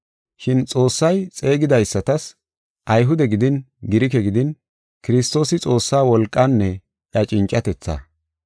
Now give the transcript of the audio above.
Shin Xoossay xeegidaysatas, Ayhude gidin, Girike gidin Kiristoosi Xoossa wolqaanne iya cincatethaa.